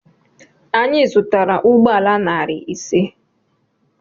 Anyị zụtara ụgbọala narị ise.